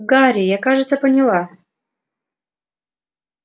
гарри я кажется поняла